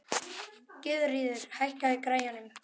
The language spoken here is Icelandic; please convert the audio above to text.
Gyðríður, hækkaðu í græjunum.